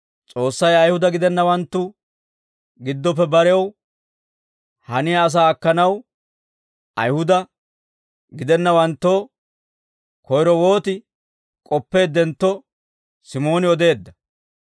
S'oossay Ayihuda gidennawanttu giddoppe barew haniyaa asaa akkanaw Ayihuda gidennawanttoo koyro wooti k'oppeeddentto Simooni odeedda.